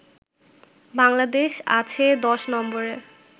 বাংলাদেশ আছে ১০ নম্বরে